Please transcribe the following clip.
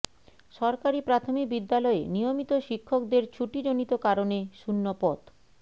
সরকারি প্রাথমিক বিদ্যালয়ে নিয়মিত শিক্ষকদের ছুটিজনিত কারণে শূন্য পদ